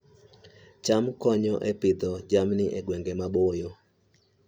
cham konyo e Pidhoo jamni e gwenge maboyo